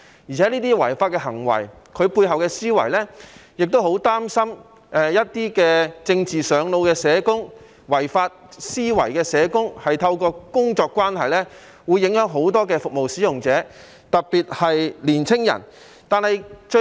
而且，這些違法行為涉及背後的思維，我亦很擔心一些"政治上腦"的社工、抱持違法思維的社工，會透過工作關係影響很多服務使用者，特別是青年人。